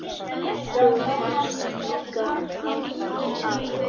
Þú varst líka frábær afi.